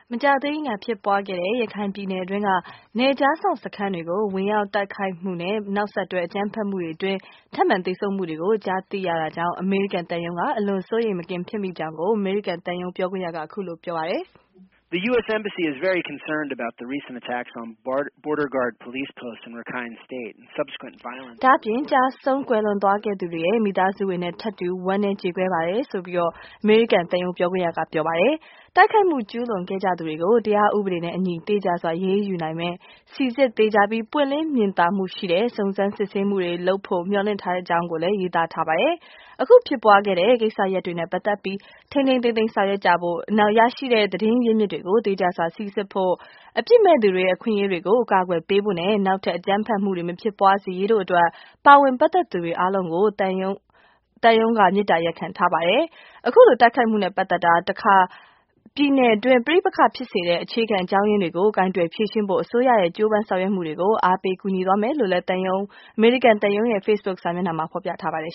မကြာသေးမီက ဖြစ်ပွားခဲ့သော ရခိုင်ပြည်နယ်အတွင်းရှိ နယ်ခြားစောင့်စခန်းများအား ဝင်ရောက်တိုက်ခိုက်မှုနှင့် နောက်ဆက်တွဲ အကြမ်းဖက်မှုများကြောင့် ထပ်မံသေဆုံးမှုများကြားသိရသည့်အတွက် အမေရိကန်သံရုံးက များစွာစိုးရိမ်မကင်း ဖြစ်မိကြောင်း အမေရိကန်သံရုံးကပြောပါသည်။ ဒါ့အပြင်ကျရှုံး ကွယ်လွန်သွားခဲ့ကြသူများ၏ မိသားစုများနှင့်ထပ်တူ ဝမ်းနည်းကြေကွဲပါကြောင်းလည်း အမေရိကန်သံရုံးက ပြောကြားလိုက်ပါသည်။ တိုက်ခိုက်မှု ကျူးလွန်ခဲ့ကြသူများအား တရားဥပဒေနှင့်အညီ သေချာစွာအရေးယူနိုင်မည့် စေ့စပ်သေချာ၍ ပွင့်လင်းမြင်သာမှုရှိသော စုံစမ်းစစ်ဆေး ဖော်ထုတ်မှုတစ်ရပ်ကို မျှော်လင့်ကြောင်း သံရုံး Facebook စာမျက်နှာမှာ ဖော်ပြထားပါတယ်။ ဒီဖြစ်စဉ်နှင့်ပတ်သက်၍ ထိန်းထိန်းသိမ်းသိမ်း ဆောင်ရွက်ကြရေး၊ ရရှိသောသတင်းရင်းမြစ်များကို သေချာစွာစိစစ်ရေး၊ အပြစ်မဲ့သူများ၏ အခွင့်အရေးများကို အကာအကွယ်ပေးရေးနှင့် နောက်ထပ်အကြမ်းဖက်မှုများ မဖြစ်ပွားစေရေးတို့အတွက် ပါဝင်ပတ်သက်သူများအားလုံးကို သံရုံးကမေတ္တာရပ်ခံကြောင်းဖော်ပြထားပါတယ်။ ဒီဖြစ်စဉ်နှင့် စပ်လျဉ်းပြီး၊ ပြည်နယ်အတွင်း ပဋိပက္ခဖြစ်စေသော အခြေခံ အကြောင်းအရင်းများကို ကိုင်တွယ် ဖြေရှင်းရန်အတွက် လည်းကောင်း၊ အစိုးရ၏ ကြိုးပမ်းဆောင်ရွက်မှုများကို အားပေးကူညီသွားမှာဖြစ်တယ်လို့လည်း သံရုံး Facebook စာမျက်နှာမှာ ဖော်ပြထားပါတယ်